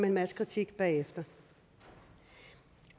en masse kritik bagefter